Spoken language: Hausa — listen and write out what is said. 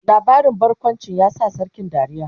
labarin barkawncin ya sa sarkin dariya?